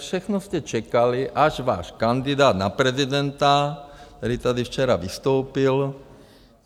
Všechno jste čekali, až váš kandidát na prezidenta, který tady včera vystoupil...